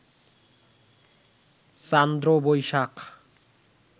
Chandra Boishakh